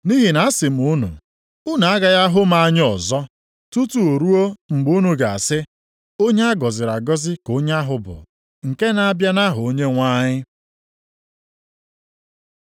Nʼihi na asị m unu, unu agaghị ahụ m anya ọzọ tutu ruo mgbe unu ga-asị, Onye a gọziri agọzi ka onye ahụ bụ nke na-abịa nʼaha Onyenwe anyị. + 23:39 \+xt Abụ 118:26\+xt* ”